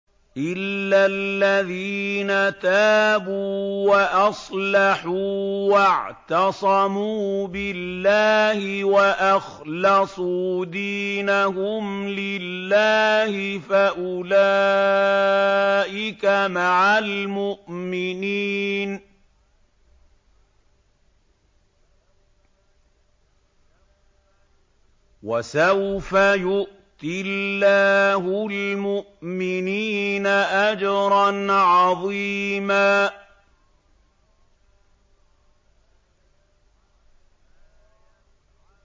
إِلَّا الَّذِينَ تَابُوا وَأَصْلَحُوا وَاعْتَصَمُوا بِاللَّهِ وَأَخْلَصُوا دِينَهُمْ لِلَّهِ فَأُولَٰئِكَ مَعَ الْمُؤْمِنِينَ ۖ وَسَوْفَ يُؤْتِ اللَّهُ الْمُؤْمِنِينَ أَجْرًا عَظِيمًا